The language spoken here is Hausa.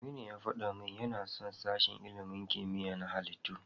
Aminu ya faɗa min yana son sashen ilimin kimiyya na halittu.